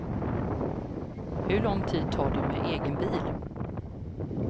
Hur lång tid tar det med egen bil?